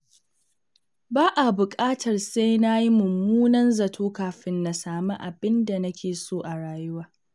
Ba a buƙatar sai na yi mummunan zato kafin na sami abin da nake so a rayuwa.